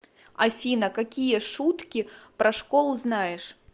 афина какие шутки про школу знаешь